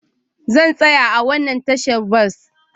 Zan tsaya a wannan tashar bas